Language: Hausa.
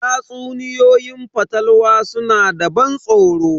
Tatsuniyoyin fatalwa suna da ban tsoro.